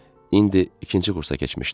İndi ikinci kursa keçmişdi.